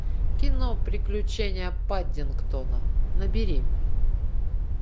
кино приключения паддингтона набери